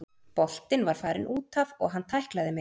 Boltinn var farinn útaf og hann tæklaði mig.